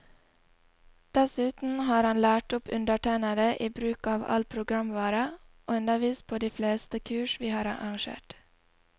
Dessuten har han lært opp undertegnede i bruk av all programvare, og undervist på de fleste kurs vi har arrangert.